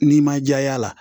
N'i ma jɛya a la